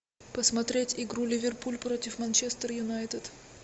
посмотреть игру ливерпуль против манчестер юнайтед